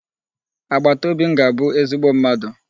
Agbataobi m ga-abu ezigbo mmadụ.